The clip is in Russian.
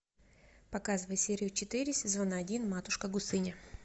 показывай серию четыре сезона один матушка гусыня